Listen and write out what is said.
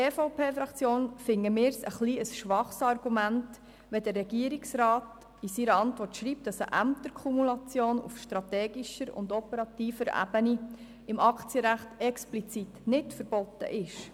Der Regierungsrat schreibt in seiner Antwort, dass eine Ämterkumulation auf strategischer und operativer Ebene im Aktienrecht explizit nicht verboten sei.